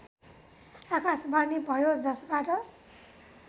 आकाशवाणी भयो जसबाट